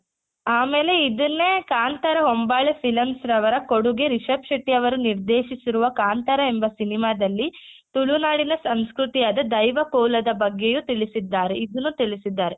ಆಮೇಲೆ ಇದುನ್ನೇ ಕಾಂತಾರ ಹೊಂಬಾಳೆ films ರವರ ಕೊಡುಗೆ ರಿಷಬ್ ಶೆಟ್ಟಿ ಅವರು ನಿರ್ದೇಶಿಸಿರುವ ಕಾಂತಾರ ಎಂಬ cinema ದಲ್ಲಿ ತುಳು ನಾಡಿನ ಸಂಸ್ಕೃತಿಯಾದ ದೈವ ಕೋಲದ ಬಗ್ಗೆಯೂ ತಿಳಿಸಿದ್ದಾರೆ ಇದ್ನು ತಿಳಿಸಿದ್ದಾರೆ.